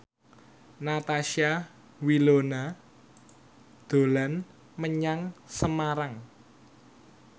Natasha Wilona dolan menyang Semarang